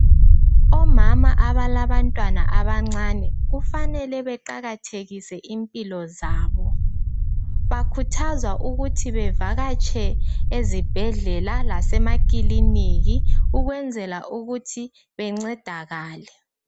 Omama abalabantwana abancane kufanele beqakathekise impilo zabo. Bakhuthazwa ukuthi bevakatshe ezibhedlela lasemakiliniki ukwenzela ukuthi bencedakale.